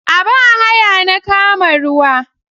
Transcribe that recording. A ba haya na kama ruwa.